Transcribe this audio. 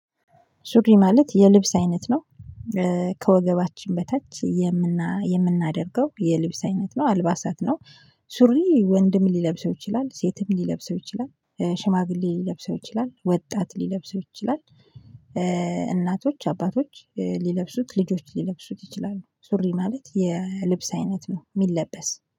ሱሪ ማለት የልብስ አይነት ነው። ከወገባችን በታች የምናደርገው የልብስ አይነት ነው አልባሳት ነው። ሱሪ ወንድም ሊለብሰው ይችላል ሴትም ሊለብሰው ይችላል ሽማግሌ ሊለብሰው ይችላል ወጣት ሊለብሰው ይችላል። እናቶች አባቶች ሊለብሱት ልጆች ሊለብሱት ይችላሉ። ሱሪ ማለት የልብስ አይነት ነው የሚለበስ